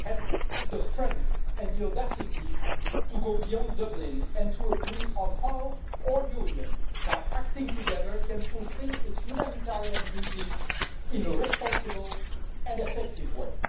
had the strength and the audacity to go beyond Dublin and to agree on how our union, by acting together, can fulfil its humanitarian duty in a responsible and effective way.